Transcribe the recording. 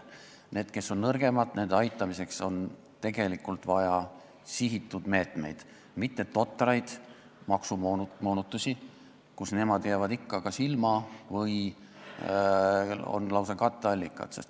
Nende aitamiseks, kes on nõrgemad, on tegelikult vaja sihitud meetmeid, mitte totraid maksumoonutusi, kus nemad jäävad ikka kas ilma või on lausa nende moonutuste katteallikad.